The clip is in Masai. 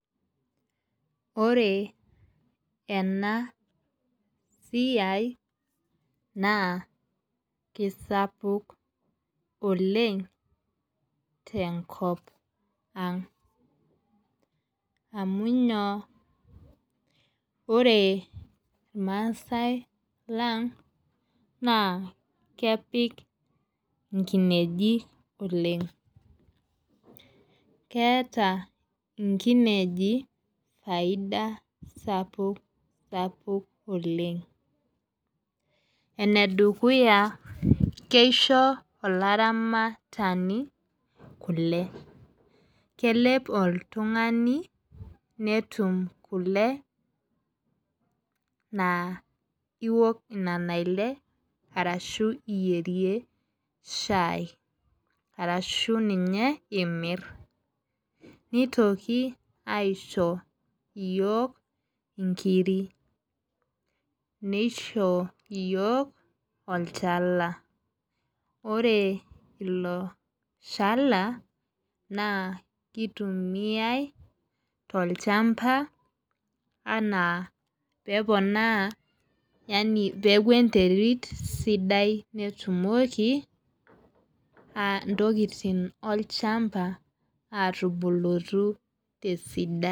Oree enaa siai naa kesapuk oleng' te nkop ang'. Amu inyoo? Ore irmaasae lang' naa kepik inkinejik oleng'. Keeta inkenejik faida sapuk sapuk oleng'. Ene dukuya, keisho olaramatani kule. Kelep oltung'ani netum kule naa iwok nena le arashu iyierie shai arashu ninye imir. Nitoki iasho iyiok inkiri nisho iyiok olchala. Ore ilo shala naa kitumia too olchamba anaa peponaa yaani peeku enterit sidai netumoki intokitin olchamba atubulutu tesidai.